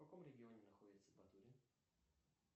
в каком регионе находится батурин